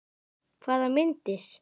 Hvaða myndir?